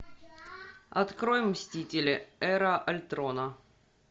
открой мстители эра альтрона